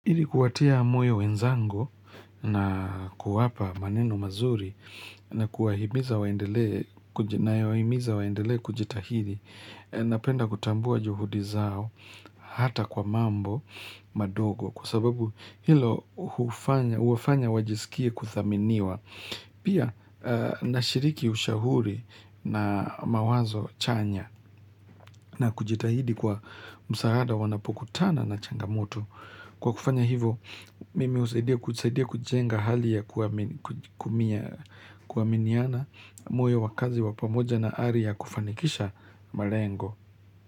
Hili kuwatia moyo wenzanga na kuwapa maneno mazuri na kuwa himiza waendele kujitahidi napenda kutambua juhudi zao hata kwa mambo madogo kwa sababu hilo huwafanya wajisikie kuthaminiwa pia na shiriki ushahuri na mawazo chanya na kujitahidi kwa msaada wanapokutana na changamoto Kwa kufanya hivo, mimi husaidia kujenga hali ya kuaminiana moyo wa kazi wa pamoja na ari ya kufanikisha malengo.